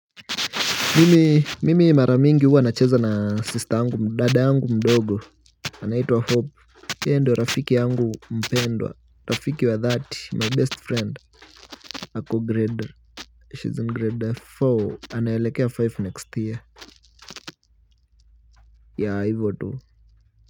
Mimi mimi mara mingi huwa nacheza na sister yangu dada yangu mdogo anaitwa hope yeye ndio rafiki angu mpendwa rafiki wa dhati my best friend ako grade she is grade four anaelekea five next year yeah hivo tu.